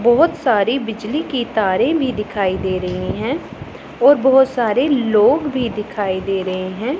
बहोत सारी बिजली की तारे भी दिखाई दे रही हैं और बहोत सारे लोग भी दिखाई दे रहे हैं।